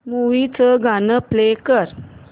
movie चं गाणं play कर